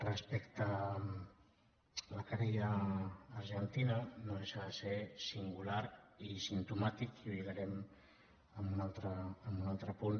respecte a la querella argentina no deixa de ser singular i simptomàtic i ho lligarem amb un altre punt